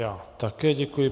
Já také děkuji.